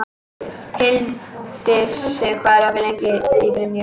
Hildisif, hvað er opið lengi í Brynju?